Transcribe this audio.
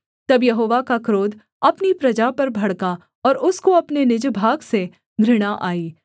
तब यहोवा का क्रोध अपनी प्रजा पर भड़का और उसको अपने निज भाग से घृणा आई